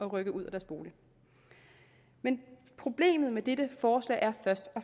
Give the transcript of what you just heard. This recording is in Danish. rykke ud af deres bolig problemet med dette forslag er først og